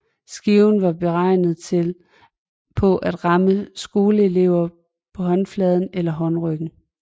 Skiven var beregnet på at ramme skoleelever på håndfladen eller håndryggen